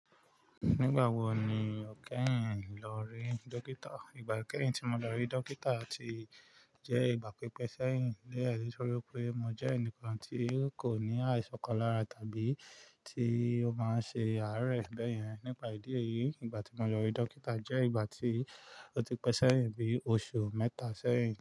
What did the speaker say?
Nígbà wo ni o kẹ́yìn lọ rí dókítà? Ìgbà kẹ́yìn tí mo lọ rí dókítà ti jẹ́ ìgbà pípẹ́ sẹ́yìn idi deni tórí pé mo jẹ́ ẹnìkan tí kò ní àìsàn kan lára tàbí tí ó máa ń ṣe àárẹ̀ bẹ́yẹn. Nípa ìdí èyí, ìgbà tí mo lọ rí dókítà jẹ́ ìgbà tí ó ti pẹ́ sẹ́yìn bí oṣù mẹ́ta sẹ́yìn.